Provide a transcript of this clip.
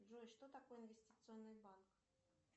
джой что такое инвестиционный банк